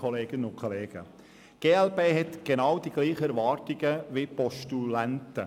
Die glp hegt dieselben Erwartungen wie die Postulanten.